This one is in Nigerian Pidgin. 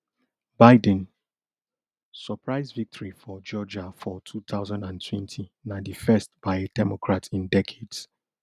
biden surprise victory for georgia for two thousand and twenty na di first by a democrat in decades